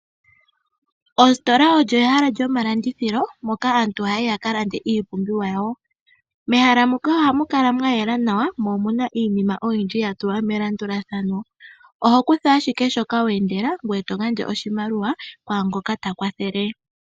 Oositola olyo ehala lyomalandithilo moka aantu ha yayi ya ka lande iipumbiwa yawo. Mehala muka ohamu kala mwa yela nawa mo omuna iinima oyindji ya tulwa melandulathano, oho kutha ashike shoka wa endele ngoye to gandja oshimaliwa ku ngoka ta kwathele.